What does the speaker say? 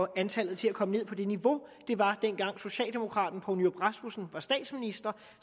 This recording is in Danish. at antallet kommer ned på det niveau det var dengang socialdemokraten poul nyrup rasmussen var statsminister